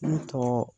Ne tɔgɔ